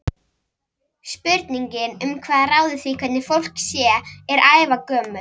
Spurningin um hvað ráði því hvernig fólk sé er ævagömul.